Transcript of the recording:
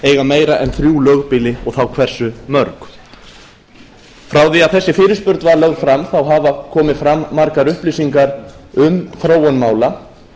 eiga meira en þrjú lögbýli og hversu mörg frá því að þessi fyrirspurn var lögð fram hafa komið fram margar upplýsingar um þróun mála